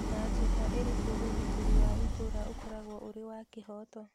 Na njĩra ĩrĩkũ ũgitĩri wa itũũra ũkoragwo ũrĩ wa kĩhooto?